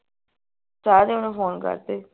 ਸਾਰੇ ਓਹਨੂੰ ਫੋਨ ਕਰਦੇ